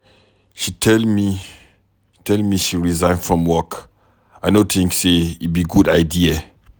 She tell me she resign from work, I no think say e be good idea.